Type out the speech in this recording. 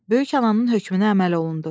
Böyük ananın hökmünə əməl olundu.